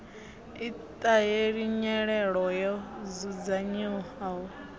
i ṱahela nyelelo yo dzudzanyiwaho